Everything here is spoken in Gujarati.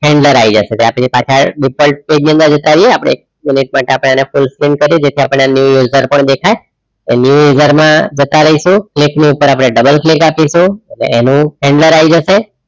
આઈ જાસું એટલે આપણી પાછા page ની અંદર જતા રહીએ આપડે full screen કરી દેશે આપણે એની અંદર પણ દેખાય new user માં જતા રાઈશુ એક ની ઉપર આપણે double click આપીશુ એટલે એનું જશે